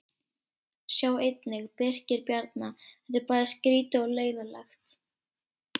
Sjá einnig: Birkir Bjarna: Þetta er bæði skrýtið og leiðinlegt